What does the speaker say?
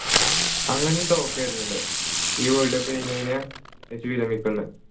അങ്ങനെയും talk വരുന്നുണ്ട് ഈ world cup കഴിഞ് കഴിഞ്ഞാ മെസ്സി വിരമിക്കുമെന്ന്